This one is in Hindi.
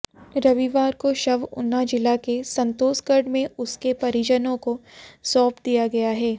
रविवार को शव ऊना जिला के संतोषगढ़ में उसके परिजनों को सौंप दिया गया है